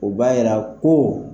O b'a jira ko